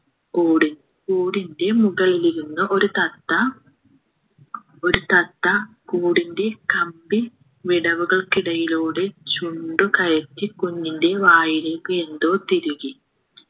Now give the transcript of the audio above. കൂട് കൂടിൻ്റെ മുകളിലിരുന്ന് ഒരു തത്ത ഒരു തത്ത കൂടിൻ്റെ കമ്പി വിടവുകൾക്കിടയിലൂടെ ചുണ്ടു കയറ്റി കുഞ്ഞിൻ്റെ വായിലേക്ക് എന്തോ തിരുകി